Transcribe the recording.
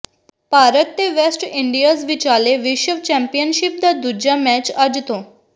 ਭਾਰਤ ਤੇ West Indies ਵਿਚਾਲੇ ਵਿਸ਼ਵ ਚੈਂਪੀਅਨਸ਼ਿਪ ਦਾ ਦੂਜਾ ਮੈਚ ਅੱਜ ਤੋਂ